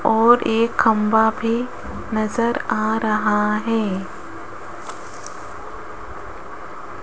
और एक खंभा भी नजर आ रहा है।